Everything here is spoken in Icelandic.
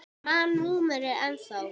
Ég man númerið ennþá.